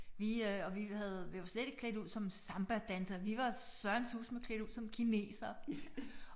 Vi øh og vi havde vi var slet ikke klædt ud som sambadansere vi var Søren susme klædt ud som kinesere